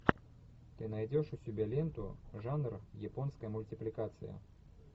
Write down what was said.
ты найдешь у себя ленту жанр японская мультипликация